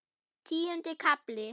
Tíundi kafli